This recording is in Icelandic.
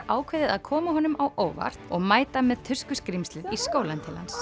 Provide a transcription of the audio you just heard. ákváðu að koma honum á óvart og mæta með tuskuskrímslið í skólann til hans